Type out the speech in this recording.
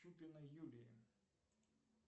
чупина юлия